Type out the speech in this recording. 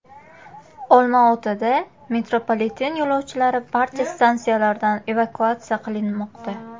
Olmaotada metropoliten yo‘lovchilari barcha stansiyalardan evakuatsiya qilinmoqda.